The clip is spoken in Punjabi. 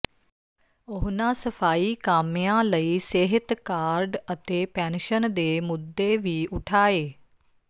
ਉਨ੍ਹਾਂ ਸਫ਼ਾਈ ਕਾਮਿਆਂ ਲਈ ਸਿਹਤ ਕਾਰਡ ਅਤੇ ਪੈਨਸ਼ਨ ਦੇ ਮੁੱਦੇ ਵੀ ਉਠਾਏ